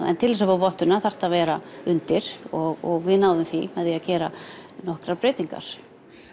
en til að fá vottun þarftu að vera undir og við náðum því að gera nokkrar breytingar